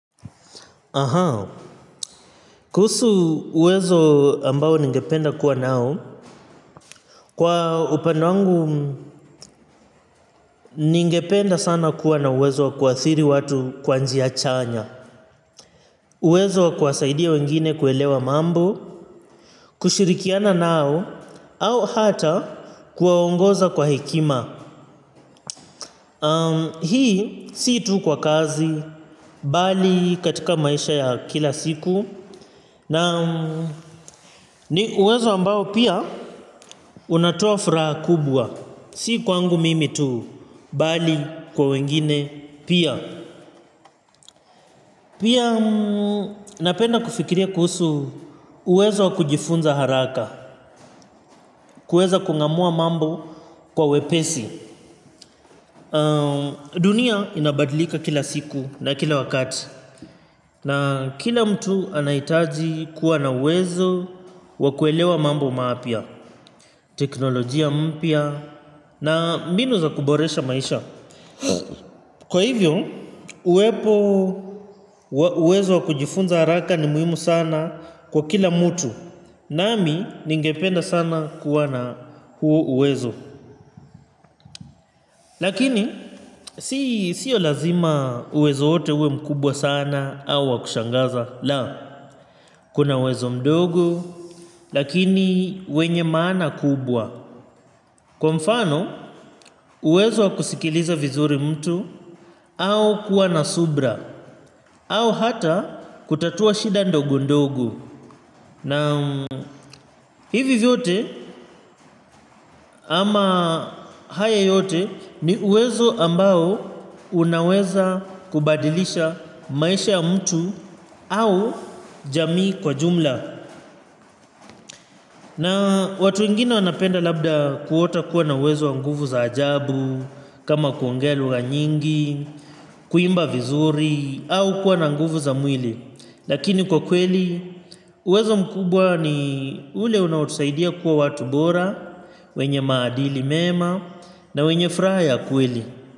Aha kuhusu uwezo ambao ningependa kuwa nao kwa upande wangu ningependa sana kuwa na uwezo wa kuathiri watu kwa njia chanya. Uwezo wa kuwasaidia wengine kuelewa mambo kushirikiana nao au hata kuwaongoza kwa hekima. Hii si tu kwa kazi bali katika maisha ya kila siku. Na ni uwezo ambao pia unatoa furaha kubwa, si kwangu mimi tu bali kwa wengine pia. Pia napenda kufikiria kuhusu uwezo wa kujifunza haraka, kuweza kung'amua mambo kwa wepesi. Dunia inabadlika kila siku na kila wakati. Na kila mtu anahitaji kuwa na uwezo wa kuelewa mambo mapya. Teknolojia mpya na mbinu za kuboresha maisha. Kwa hivyo uwepo uwezo wa kujifunza haraka ni muhimu sana kwa kila mtu. Nami ningependa sana kuwa na huu uwezo. Lakini siyo lazima uwezo wote uwe mkubwa sana au wa kushangaza. La, kuna uwezo mdogo lakini wenye maana kubwa. Kwa mfano uwezo kusikiliza vizuri mtu au kuwa na subira au hata kutatua shida ndogo ndogo na hivi vyote ama haya yote ni uwezo ambao unaweza kubadilisha maisha ya mtu au jamii kwa jumla. Na watu wengine wanapenda labda kuota kuwa na uwezo wa nguvu za ajabu, kama kuongea lugha nyingi, kuimba vizuri, au kuwa na nguvu za mwili. Lakini kwa kweli, uwezo mkubwa ni ule unaotusaidia kuwa watu bora, wenye maadili mema, na wenye furaha ya kweli.